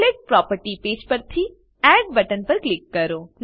template property page પરથી add button પર click કરો